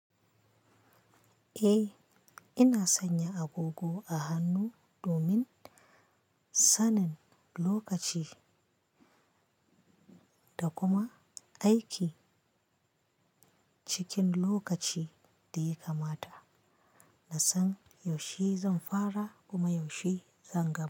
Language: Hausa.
Eh, ina sanya agogo a hannu domin sanin lokaci da kuma aiki cikin lokaci da yaka mata. Na san yaushe zan fara kuma yaushe zan gama.